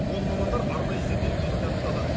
оны мамандар арнайы зерделеу кезінде анықтады